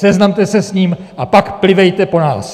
Seznamte se s ním, a pak plivejte po nás.